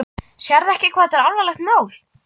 Sérðu ekki hvað þetta er alvarlegt mál?